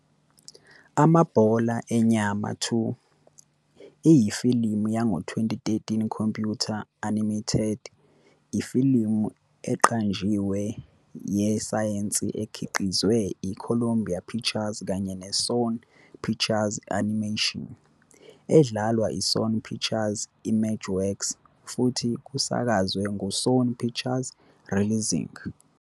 Amabhola Enyama 2 iyifilimu yango-2013 computer-animated ifilimu eqanjiwe yesayensi ekhiqizwe i-Columbia Pictures kanye ne-Sony Pictures Animation, edlalwa i-Sony Pictures Imageworks, futhi kusakazwe ngu-Sony Pictures Releasing.